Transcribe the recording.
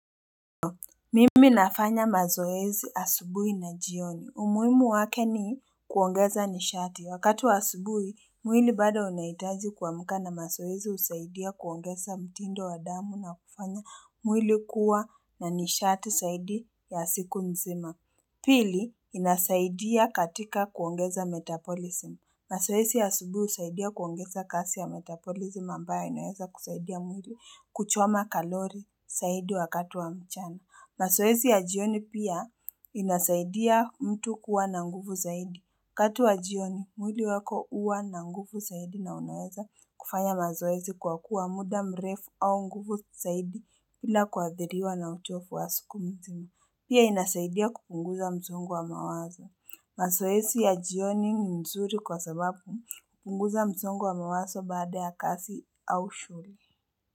Mimi nafanya mazoezi asubuhi na jioni. Umuhimu wake ni kuongeza nishati. Wakati wa asubui, mwili bado unahitaji kuamka na mazoezi husaidia kuongeza mtindo wa damu na kufanya mwili kuwa na nishati zaidi ya siku mzima. Pili, inasaidia katika kuongeza metabolism. Mazoezi ya asubuhi husaidia kuongeza kazi ya metabolism ambayo inaweza kusaidia mwili kuchoma kalori zaidi wakati wa mchana. Mazoezi ya jioni pia inasaidia mtu kuwa na nguvu zaidi. waKati wa jioni, mwili wako huwa na nguvu zaidi na unaweza kufanya mazoezi kwa kuwa muda mrefu au nguvu zaidi bila kuadhiriwa na uchovu wa siku hizi. Pia inasaidia kupunguza mzongo wa mawazo. Mazoezi ya jioni ni mzuri kwa sababu hupunguza mzongo wa mawazo baada ya kazi au shule.